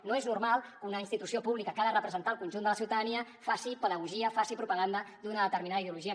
no és normal que una institució pública que ha de representar el conjunt de la ciutadania faci pedagogia faci propaganda d’una determinada ideologia